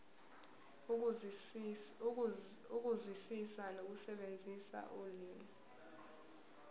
ukuzwisisa nokusebenzisa ulimi